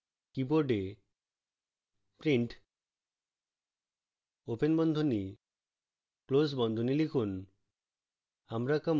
keyboard print open বন্ধনী close বন্ধনী লিখুন